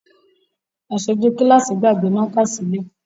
Aṣojú kíláàsì gbàgbé mákà sílé